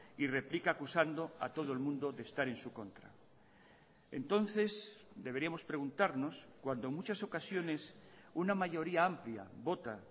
y replica acusando a todo el mundo de estar en su contra entonces deberíamos preguntarnos cuando en muchas ocasiones una mayoría amplia vota